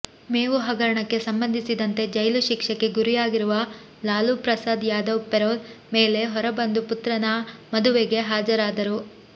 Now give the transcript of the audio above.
ಮೇವು ಹಗರಣಕ್ಕೆ ಸಂಬಂಧಿಸಿದಂತೆ ಜೈಲು ಶಿಕ್ಷೆಗೆ ಗುರಿಯಾಗಿರುವ ಲಾಲೂ ಪ್ರಸಾದ್ ಯಾದವ್ ಪೆರೋಲ್ ಮೇಲೆ ಹೊರಬಂದು ಪುತ್ರನ ಮದುವೆಗೆ ಹಾಜರಾದರು